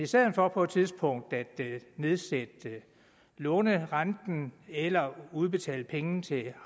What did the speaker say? stedet for på et tidspunkt at nedsætte lånerenten eller udbetale penge til